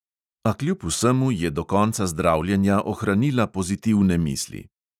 A kljub vsemu je do konca zdravljenja ohranila pozitivne misli.